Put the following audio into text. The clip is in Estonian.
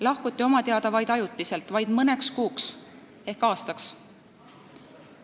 Lahkuti oma teada vaid ajutiselt – ainult mõneks kuuks, ehk aastaks.